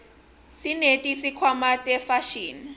sineti khwama tefashini